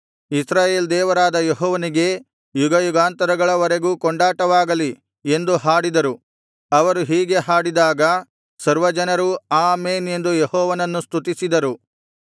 ಇಸ್ರಾಯೇಲ್ ದೇವರಾದ ಯೆಹೋವನಿಗೆ ಯುಗಯುಗಾಂತರಗಳವರೆಗೂ ಕೊಂಡಾಟವಾಗಲಿ ಎಂದು ಹಾಡಿದರು ಅವರು ಹೀಗೆ ಹಾಡಿದಾಗ ಸರ್ವಜನರೂ ಆಮೆನ್ ಎಂದು ಯೆಹೋವನನ್ನು ಸ್ತುತಿಸಿದರು